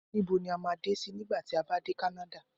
Nibo ni a ma de si nigba ti a ba de kanada?